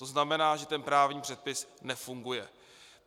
To znamená, že ten právní předpis nefunguje.